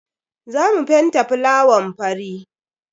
Za mu fenta fulawan fari.